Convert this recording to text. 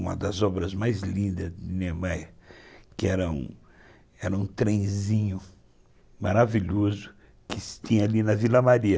uma das obras mais lindas de Niemeyer, que era um trenzinho maravilhoso que se tinha ali na Vila Maria.